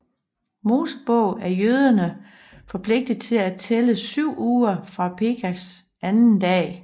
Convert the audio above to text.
Mosebog er jøderne forpligtet til at tælle syv uger fra Pesachs anden dag